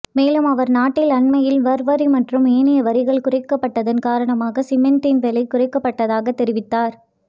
மேலும் அவர் நாட்டில் அண்மையில் வற் வரி மற்றும் ஏனைய வரிகள் குறைக்கப்பட்டதன் காரணமாக சீமெந்தின் விலை குறைக்கபடுக்கதாக தெரிவித்தார்